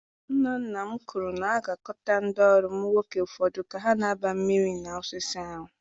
Nna nna m kwuru na a ga-akọta ndị ọrụ ụmụ nwoke ụfọdụ ka ha na-agba miri na osisi ahụ.